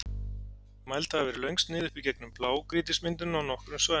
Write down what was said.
Mæld hafa verið löng snið upp í gegnum blágrýtismyndunina á nokkrum svæðum.